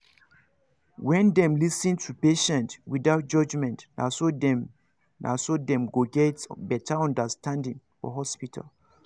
when them lis ten to patient without judgment naso dem naso dem go get better understanding for hospital